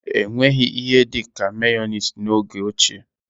Enweghị ihe dịka meyoniz n'oge ochie.